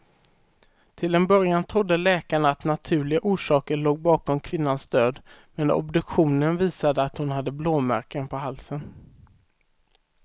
Till en början trodde läkarna att naturliga orsaker låg bakom kvinnans död, men obduktionen visade att hon hade blåmärken på halsen.